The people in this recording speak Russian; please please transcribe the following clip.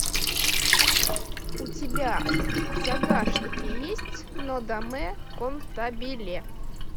у тебя в загашнике есть нодамэ кантабиле